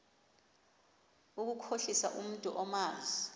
ukukhohlisa umntu omazi